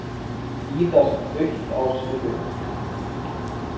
Víðast autt á Suðurlandi